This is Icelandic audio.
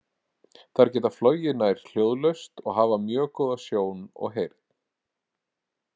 Þær geta flogið nær hljóðlaust og hafa mjög góða sjón og heyrn.